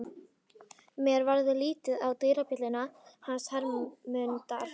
Mér varð litið á dyrabjölluna hans Hermundar.